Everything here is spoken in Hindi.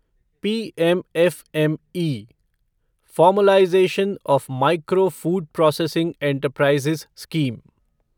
PM FME formalisation of micro food processing enterprises scheme